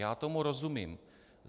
Já tomu rozumím.